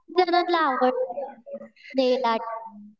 खूप जणांना आवडतं नेल आर्ट.